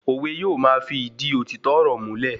Òwe yóò ma fi ìdí òtítọ́ ọ̀rọ̀ múlẹ̀